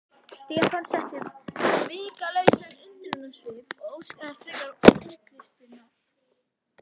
Stefán setti upp svikalausan undrunarsvip og óskaði frekari útlistunar.